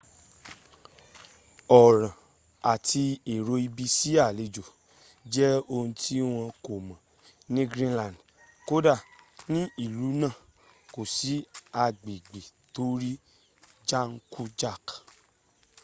ọ̀ràn àti èrò ibi sí àlejò jẹ ohun tí wọn kò mọ̀ ni greenland kódà ní ìlú náàm kò sí agbègbè tó rí jákujàk